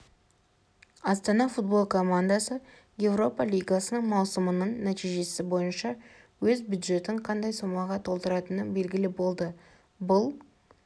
астана футбол командасы еуропа лигасының маусымының нәтижесі бойынша өз бюджетін қандай сомаға толықтыратыны белгілі болды бұл